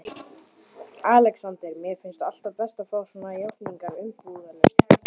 ALEXANDER: Mér finnst alltaf best að fá svona játningar umbúðalaust.